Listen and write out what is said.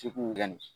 Degun gɛnnen